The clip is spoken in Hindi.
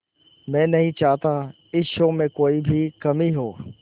मैं नहीं चाहता इस शो में कोई भी कमी हो